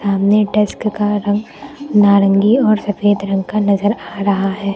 सामने डेस्क का रंग नारंगी और सफेद रंग का नजर आ रहा है।